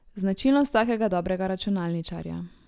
Značilnost vsakega dobrega računalničarja.